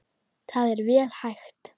Það er vel hægt.